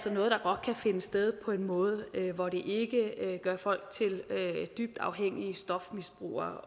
er noget der godt kan finde sted på en måde hvor det ikke gør folk til dybt afhængige stofmisbrugere